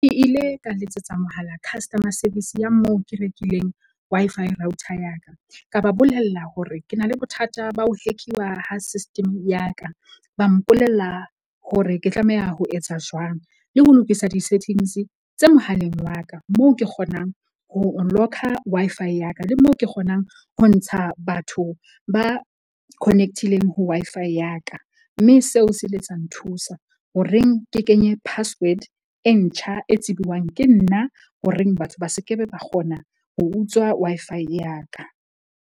Ke ile ka letsetsa mohala customer service ya moo ke rekileng Wi-Fi router ya ka, ka ba bolella hore ke na le bothata ba ho hack-uwa ha system ya ka. Ba mpolella hore ke tlameha ho etsa jwang le ho lokisa di-settings tse mohaleng wa ka. Moo ke kgonang ho locker Wi-Fi ya ka le moo ke kgonang ho ntsha batho ba connect-ileng ho Wi-Fi ya ka. Mme seo se ile sa nthusa ho reng ke kenye password e ntjha e tsibuwang ke nna horeng batho ba se ke be ba kgona ho utswa Wi-Fi ya ka.